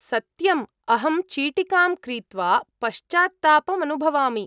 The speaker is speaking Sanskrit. सत्यम्, अहं चीटिकां क्रीत्वा पश्चात्तापमनुभवामि।